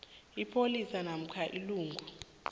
ipholisa namkha ilungu